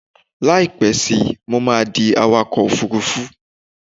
Láìpẹ́ síi, mo máa di awakọ̀ òfurufú